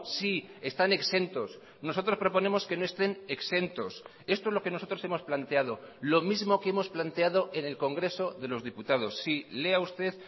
sí están exentos nosotros proponemos que no estén exentos esto es lo que nosotros hemos planteado lo mismo que hemos planteado en el congreso de los diputados sí lea usted